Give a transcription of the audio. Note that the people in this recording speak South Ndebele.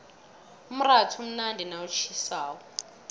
umratha umnandi nawutjhisako